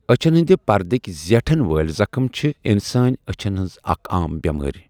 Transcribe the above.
اچھن ہندِ پردٕكہِ زیٹھن وٲلہِ زخم چھِ انسٲنی أچھَن ہٕنٛز اکھ عام بٮ۪مٲرِ ۔